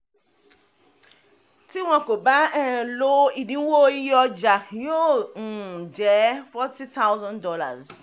tí wọ́n kò bá um lo ìdínwó iye ọjà yóò um jẹ́ forty thousand dollars.